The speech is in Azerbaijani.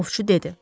Ovçu dedi.